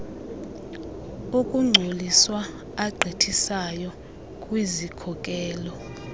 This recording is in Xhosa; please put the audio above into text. okungcoliswa agqithisayo kwizikhokelo